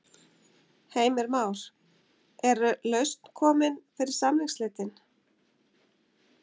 Heimir Már: Og lausn komin fyrir samningsslitin?